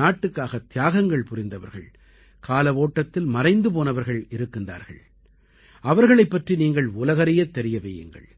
நாட்டுக்காகத் தியாகங்கள் புரிந்தவர்கள் கால ஓட்டத்தில் மறைந்து போனவர்கள் இருக்கின்றார்கள் அவர்களைப் பற்றி நீங்கள் உலகறியத் தெரிய வையுங்கள்